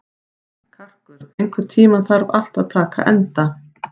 Karkur, einhvern tímann þarf allt að taka enda.